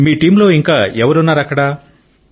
మీ టీంలోఇంకా ఎవరున్నారు అక్కడ